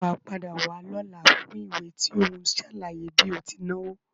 Sé wàá padà wá lọ́la fún ìwé tí ó n sàlàyé bí o ti náwo?